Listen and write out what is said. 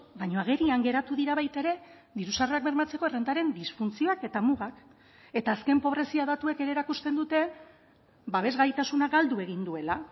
baina agerian geratu dira baita ere diru sarrerak bermatzeko errentaren disfuntzioak eta mugak eta azken pobrezia datuek ere erakusten dute babes gaitasuna galdu egin duela